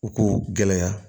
U ko gɛlɛya